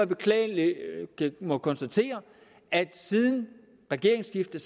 beklageligt at jeg må konstatere at siden regeringsskiftet